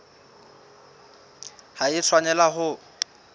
ha e a tshwanela ho